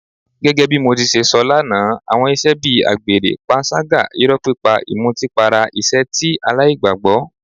Gẹ́gẹ́ bí mo ṣe sọ lánàá, àwọn ìṣe bí àgbèrè, panṣágà, irọ́ pípa, ìmutípara ìṣe tí aláìgbàgbọ́.